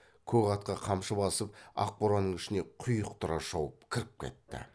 көк атқа қамшы басып ақ боранның ішіне құйықтыра шауып кіріп кетті